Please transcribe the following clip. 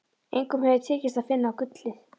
Engum hefur tekist að finna gullið.